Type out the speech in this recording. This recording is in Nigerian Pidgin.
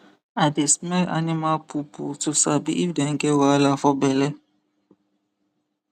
i dey smell animal poo poo to sabi if dem get wahala for belle